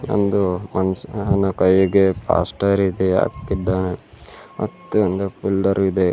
ಒಂದು ಮನುಷ್ಯಾನ ಕೈಗೆ ಪ್ಲಾಸ್ಟರ್ ರೀತಿ ಹಾಕಿದ್ದಾನೆ ಮತ್ತೆ ಒಂದು ಪಿಲ್ಲರ್ ಇದೆ.